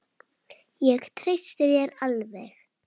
Ég treysti þér alveg!